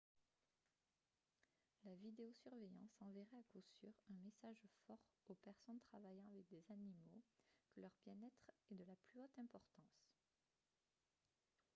« la vidéo-surveillance enverrait à coup sûr un message fort aux personnes travaillant avec des animaux que leur bien-être est de la plus haute importance »